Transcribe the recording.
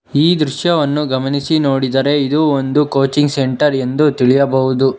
ಈ ದೃಶ್ಯವನ್ನು ಗಮನಿಸಿ ನೋಡಿದರೆ ಇದು ಒಂದು ಕೋಚಿಂಗ್ ಸೆಂಟರ್ ಎಂದು ತಿಳಿಯಬಹುದು.